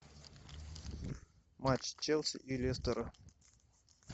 матч челси и лестера